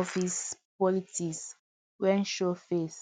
office politics wan show face